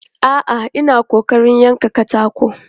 A'a, ina ƙoƙarin yankan katako.